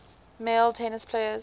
male tennis players